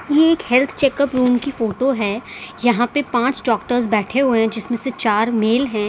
ये एक health checkup room की फोटो है यहां पे पांच डॉक्टर्स बैठे हुए हैं जिसमें से चार मेल हैं।